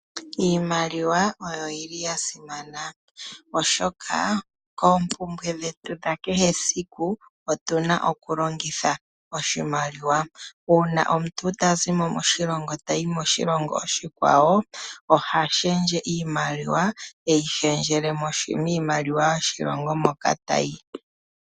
Iimaliwa oyo yili yasimana oshoka koompumbwe dhetu dhakehe esiku otuna okulongitha oshimaliwa uuna omuntu tazimo moshilongo tayi moshilongo oshikwawo oha shendje iimaliwa teyishendjele miimaliwa yomoshilongo moka tayi.